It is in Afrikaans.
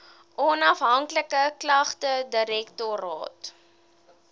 onafhanklike klagtedirektoraat